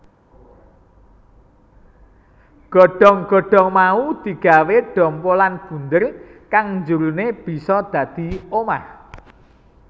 Godhong godhong mau digawé dhompolan bunder kang njerone bisa dadi omah